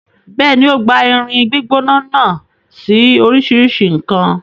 Bẹ́ẹ̀ni, o gbá irin gbígbóná náà sí oríṣìíríṣìí nǹkan.